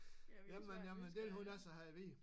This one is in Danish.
Jamen jamen dét vil hun altså have at vide